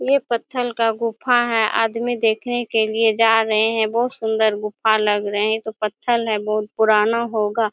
ये पत्थल का गुफ़ा है आदमी देखने के लिए जा रहे है बहुत सुंदर गुफ़ा लग रहे है ये तो पत्थल है बहुत पुराना होगा।